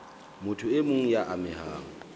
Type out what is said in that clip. motho e mong ya amehang